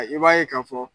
I b'a ye k'a fɔ